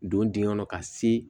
Don dingɛ kɔnɔ ka se